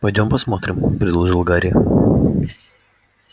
пойдём посмотрим предложил гарри